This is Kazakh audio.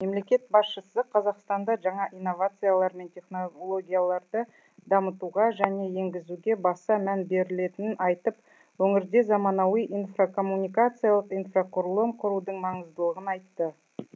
мемлекет басшысы қазақстанда жаңа инновациялар мен технологияларды дамытуға және енгізуге баса мән берілетінін айтып өңірде заманауи инфокоммуникациялық инфрақұрылым құрудың маңыздылығын айтты